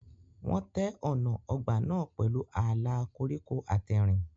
Wọ́n tẹ́ ọ̀nà ọgbà náà pẹ̀lú ààlà koríko àtẹ̀rìn.